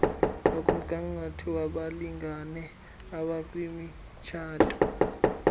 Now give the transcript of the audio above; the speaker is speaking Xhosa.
nokmgangatho wabalingane abakwimitshato